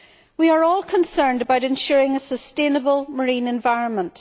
We are all concerned about ensuring a sustainable marine environment.